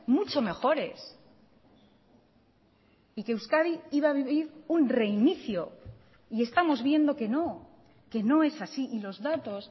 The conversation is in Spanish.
mucho mejores y que euskadi iba a vivir un reinicio y estamos viendo que no que no es así y los datos